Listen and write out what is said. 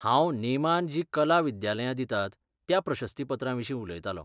हांव नेमान जी कला विद्यालयां दितात त्या प्रशस्तीपत्राविशीं उलयतालों.